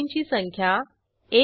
checkoutरिटर्न book वर click करा